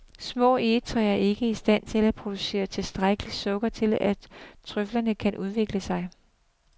Små egetræer er ikke i stand til at producere tilstrækkeligt sukker til at trøflerne kan udvikle sig.